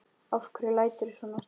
Af hverju læturðu svona Ásta?